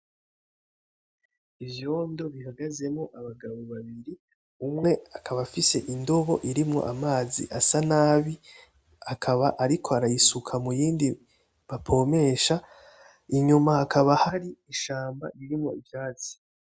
Ivyondo bihagazemwo abagabo babiri ,umwe akaba afise indibo irimwo amazi asa nabi, akaba ariko arayisuka muy’indi apomesha, inyuma hakaba hari ishamba ririmwo ivyatsi.